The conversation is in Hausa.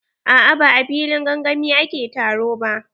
A'a ba a filin gangami ake taro ba.